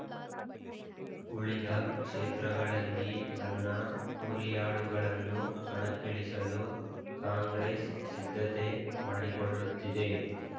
ಉಳಿದ ಕ್ಷೇತ್ರಗಳಲ್ಲಿ ತನ್ನ ಹುರಿಯಾಳುಗಳನ್ನು ಕಣಕ್ಕಿಳಿಸಲು ಕಾಂಗ್ರೆಸ್ ಸಿದ್ಧತೆ ಮಾಡಿಕೊಳ್ಳುತ್ತಿದೆ